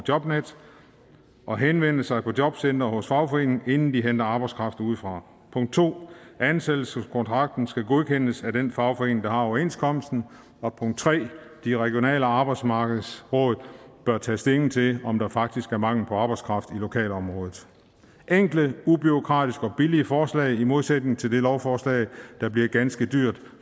jobnet og henvende sig på jobcentret eller hos fagforeningen inden de henter arbejdskraft udefra 2 ansættelseskontrakten skal godkendes af den fagforening der har overenskomsten og 3 de regionale arbejdsmarkedsråd bør tage stilling til om der faktisk er mangel på arbejdskraft i lokalområdet det er enkle ubureaukratiske og billige forslag i modsætning til det lovforslag der bliver ganske dyrt